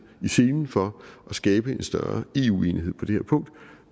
i selen for at skabe en større eu enighed på det her punkt